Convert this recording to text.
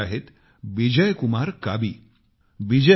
असेच एक मित्र आहेत बिजय कुमार काबी